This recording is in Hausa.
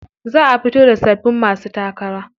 Za a fito da sababbin masu takara.